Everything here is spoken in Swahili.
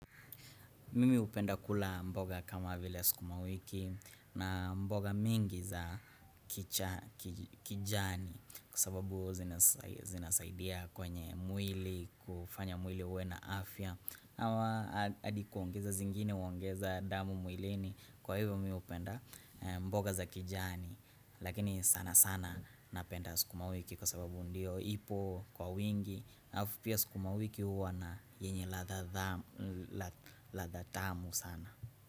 Mimi hupenda kula mboga kama vile sukuma wiki na mboga mingi za kijani kwasababu zinasaidia kwenye mwili kufanya mwili uwe na afya. Ama adi kuongeza zingine uongeza damu mwilini kwa hivyo mimi hupenda mboga za kijani Lakini sanasana napenda sukuma wiki kwasababu ndio ipo kwa wingi alafu pia sukuma wiki huwa na yenye ladha tamu sana.